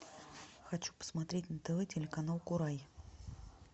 хочу посмотреть на тв телеканал курай